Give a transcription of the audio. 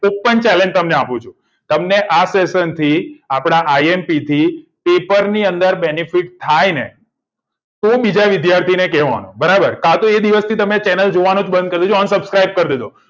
open challenge તમને આપું છુ તમને આ session થી આપદા imp થી પેપર ની અંદર benefit થાયને તો બીજા વિદ્યાર્થીઓ ને કેવાનું બરાબર કાતો એ દિવસ થી channel જોવાનું બંધ કર્યું છે તો unsubscribe કર દેજો